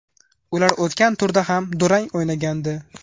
Ular o‘tgan turda ham durang o‘ynagandi.